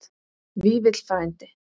Vífill frændi.